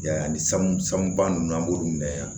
I y'a ye ani sanu sanu ba ninnu an b'olu minɛ yan